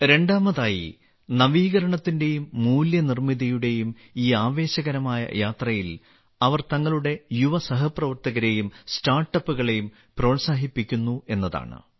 രണ്ടാമതായി നവീകരണത്തിന്റെയും മൂല്യനിർമ്മിതിയുടെയും ഈ ആവേശകരമായ യാത്രയിൽ അവർ തങ്ങളുടെ യുവസഹപ്രവർത്തകരെയും സ്റ്റാർട്ടപ്പുകളേയും പ്രോത്സാഹിപ്പിക്കുന്നു എന്നതാണ്